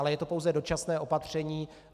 Ale je to pouze dočasné opatření.